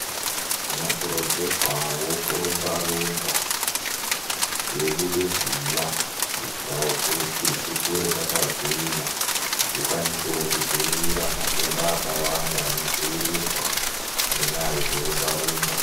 Zvinokurudzirwawo kurumbarumba teibude ziya kuitirawo kuti tikure takagwinya tikwanisewo kudziirire matenda akawanda anodziirirwa nenyaya yekurumba-rumba.